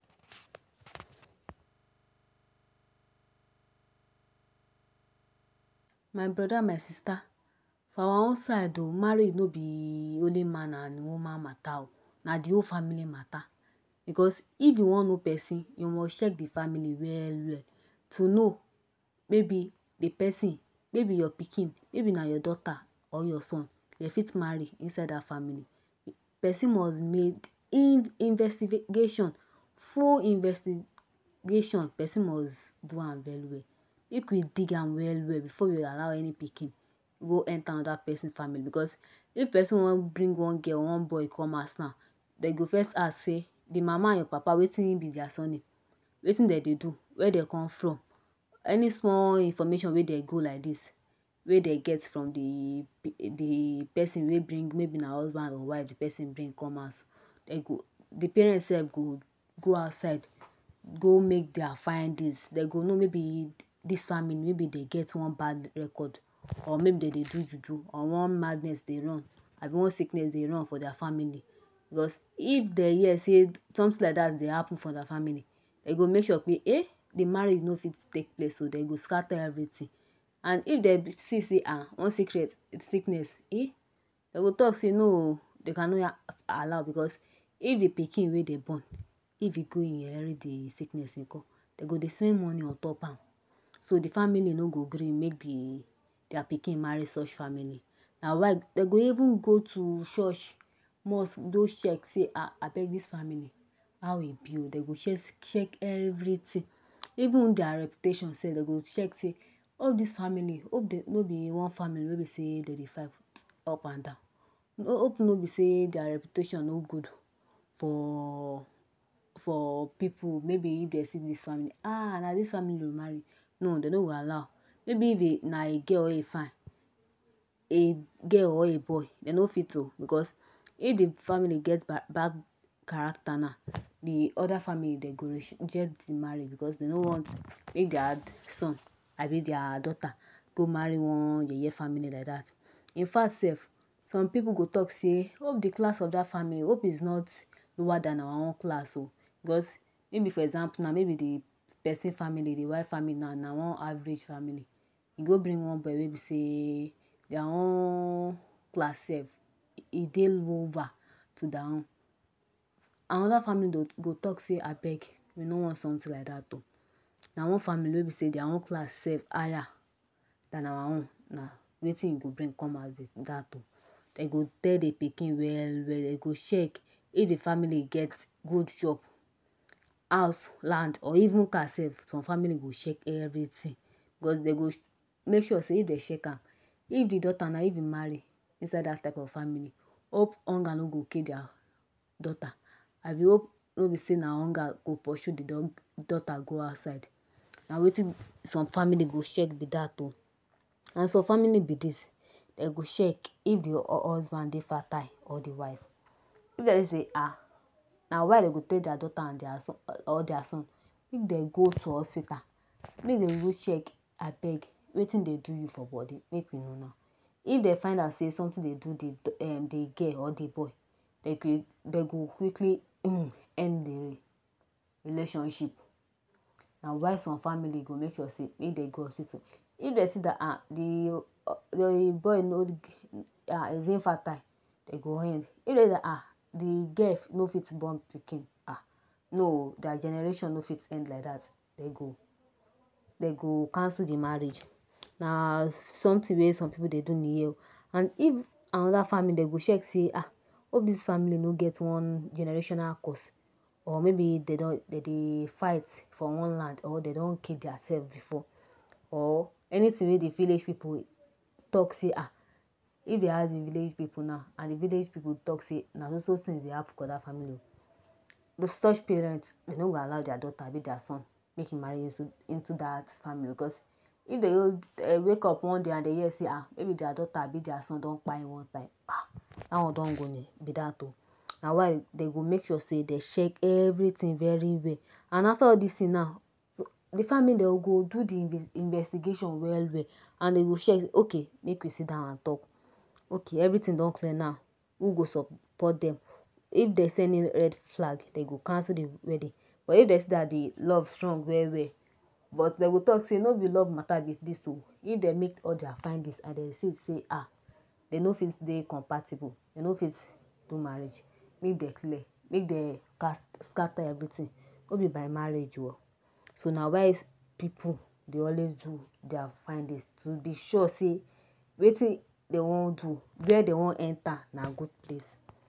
My brother my sister for our own side of marriage no be only man and woman mata o na de whole family mata because if you wan know pesin you must check de family well well to know maybe de person maybe your pikin maybe na your daughter or your son e fit marry inside that family person must make investigation full investigation person must do am very well make you dig am well well before you allow any pikin go enter another person family because if person wan bring one girl or one boy come house now dem go first ask sey de mama de papa wetin be their surname wetin dem dey do wey dem come from any small information wey dem go like this wey dem get from de de person maybe maybe na husband or wife de person bring come house dem go de parent sef go go outside go make their findings dem go know maybe this family maybe dem get one bad record or maybe dem dey do juju or one madness dey run abi one sickness dey run for their family because if dem hear sey something like that dey happen for their family dem go make sure sey um the marriage no fit take place dem go scatter everything and if dem see sey um one sickness um dem go talk sey no oo dey can not allow o because if de pikin wey dey born if e go inherit de sickness nko dem go dey spend money ontop am so de family no go gree make their pikin marry such family na why dem go even go to church mosque go check sey abeg this family how e be oo dem go check everything even their reputation sef dem go check too all this family hope sey no be wrong family wey dem dey fight up and down hope no be sey their reputation no good for for people maybe if dem see this family um na this family oo you wan marry no dem no go allow maybe if na a girl e fine a girl or a boy dem no fit oo because if de family get bad characters now de other family dem go reject de marriage because dem no want make their son abi their daughter go marry one yeye family like that infact sef some people go talk sey hope de class of that family hope it is not lower than our own class oo because even for example now maybe de person family dey de wife family now na one average family e go bring one boy wey be sey e their own class sef e dey lower to their own another family go talk sey abeg we no want something like that ok na one family wey even sey their own family higher than our own na wetin you go bring come house be that oh dem go tell de pikin well well dem go check if de family get good job house land or even car sef some family go check everything because dem go make sure sey if dem check am now if de daughter now if e marry inside that type of family hop hunger no go kill their daughter abi hope no be sey na hunger go pursue de daughter go outside na wetin some family go check be that o and some family be this dem go check if de husband dey fertile or de wife if dem see sey um na why dem go take their daughter or their son make dem go to hospital make dem go check abeg wetin dey do you for body make you know now if dem find out sey something dey do de um de girl or de boy dem go quickly know end de relationship na why some family go make sure sey make dem go hospital if dem see that um de de boy no de um is infertile dem go end of dem know sey de girl no fit born um no oh their generation no fit end like that oh. dem go dem go cancel de marriage na something wey some people dey do and if another family dem go check sey um hope This family no get one generational curse or maybe dey don dem dey fight for one land or dem don kill their self before or any thing wey de village people talk sey um if dey ask their village people now and de village people talk sey na so so things dey happen for that family oh such parent dey no go allow their daughter abi their son make im marry into that family because if dem go wake up hear sey maybe their daughter abi their son don kpai one time that one don go be that oh. na why dem go make sure sey dey check everything very well and after all this things now de family dem go do de investigation well well and dey go check okay make we sit down and talk okay everything don clear now. Im go support dem if dey see any red flag dem go cancel de wedding but if dey see that de love strong well well but dem go talk sey no be love mata be this oh if dem make all their findings and dem see sey um dem no fit dey compatible dem no fit do marriage make dem clear make dem scatter everything no be by marriage o so na why people dey always do their findings to be sure sey wetin dey wan do were dey one enter na good place.